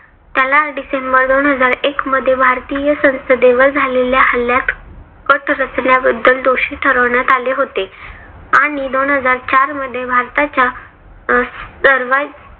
त्याला डिसेंबर दोन हजार एक मध्ये भारतीय संसदेवर झालेल्या हल्ल्यात कट रचल्याबद्दल दोषी ठरवण्यात आले होते आणि दोन हजार चार मध्ये भारताच्या अं